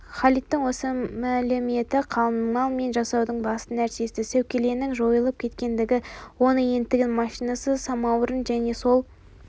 халидтің осы мәліметі қалыңмал мен жасаудың басты нәрсесі сәукеленің жойылып кеткендігін оны енді тігін машинасы самаурын және сол